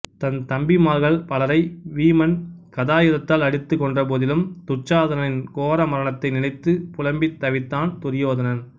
தன் தம்பிமார்கள் பலரை வீமன் கதாயுதத்தால் அடித்து கொன்ற போதிலும் துச்சாதனனின் கோரமரணத்தை நினைத்து புலம்பித் தவித்தான் துரியோதனன்